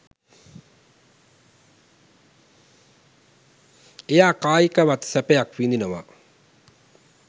එයා කායිකවත් සැපයක් විඳිනවා